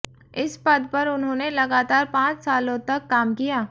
इस पद पर उन्होंने लगातार पांच सालों तक काम किया